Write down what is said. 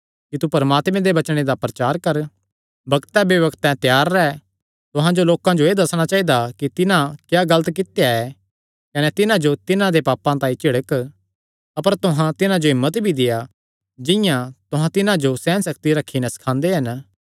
कि तू परमात्मे दे वचने दा प्रचार कर बग्तें बेबग्तें त्यार रैह् तुहां जो लोकां जो एह़ दस्सणा चाइदा कि तिन्हां क्या गलत कित्या ऐ कने तिन्हां जो तिन्हां दे पापां तांई झिड़क अपर तुहां तिन्हां जो हिम्मत भी देआ जिंआं तुहां तिन्हां जो सेहनसक्ति रखी नैं सखांदे हन